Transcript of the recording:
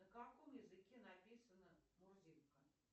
на каком языке написана мурзилка